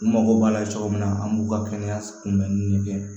N mago b'a la cogo min na an b'u ka kɛnɛya kunbɛnni de kɛ